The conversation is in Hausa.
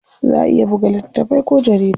Za a iya buga littatafai ko jarida.